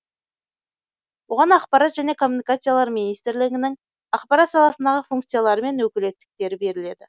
оған ақпарат және коммуникациялар министрлігінің ақпарат саласындағы функциялары мен өкілеттіктері беріледі